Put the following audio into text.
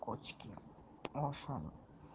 котики у ашана